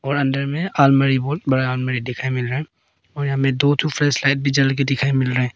और अंदर में अलमारी बहुत बड़ा अलमारी दिखाई मिल रहा है और हमें दो ठो फ्लैशलाइट भी जल के दिखाई मिल रहे हैं।